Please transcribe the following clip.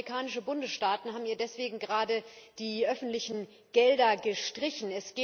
Zehn amerikanische Bundesstaaten haben ihr deswegen gerade die öffentlichen Gelder gestrichen.